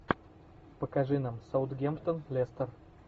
покажи нам саутгемптон лестер